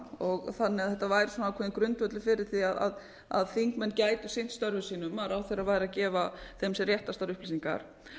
þannig að þetta væri ákveðinn grundvöllur fyrir því að þingmenn gætu sinnt störfum sínum að ráðherrar væru að gefa þeim sem réttastar upplýsingar